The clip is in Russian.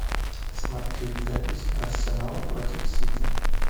смотреть запись арсенала против сити